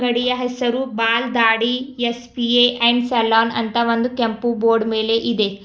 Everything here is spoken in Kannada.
ಅಂಗಡಿಯ ಹೆಸರು Paan Dadi S P A and salon ಅಂತ ಒಂದು ಕೆಂಪು ಬೋರ್ಡ್ ಮೇಲೆ ಇದೆ.